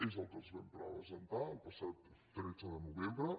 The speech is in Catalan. és el que els vam presentar el passat tretze de novembre